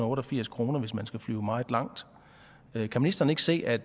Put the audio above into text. otte og firs kr hvis man skal flyve meget langt kan ministeren ikke se at